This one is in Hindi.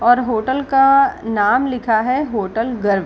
और होटल का अअ नाम लिखा है होटल र्गव।